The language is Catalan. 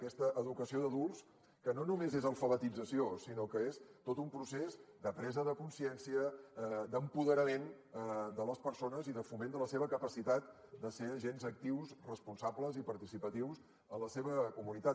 aquesta educació d’adults que no només és alfabetització sinó que és tot un procés de presa de consciència d’apoderament de les persones i de foment de la seva capacitat de ser agents actius responsables i participatius en la seva comunitat